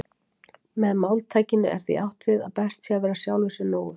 Með máltækinu er því átt við að best sé að vera sjálfum sér nógur.